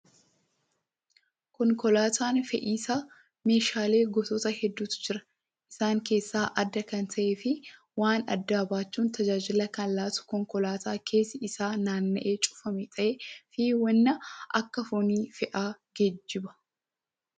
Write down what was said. Konkolaataan fe'iisaa meeshaalee gosoota hedduutu jira. Isaan keessaa adda kan ta'ee fi waan addaa baachuun tajaajila kan laatu konkolaataa keessi isaa naanna'ee cufamaa ta'ee fi waan akka foonii fa'aa geejjiba.